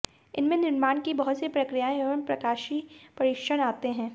इसमें निर्माण के बहुत सी प्रक्रियाएँ एवं प्रकाशीय परीक्षण आते हैं